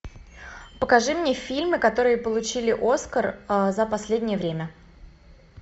покажи мне фильмы которые получили оскар за последнее время